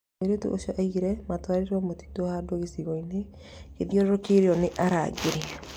Mũirĩtu ũcio oigĩte matwarirwo mũtitũ handũ gĩcigo-inĩ gĩathiorokĩirio ni arangĩri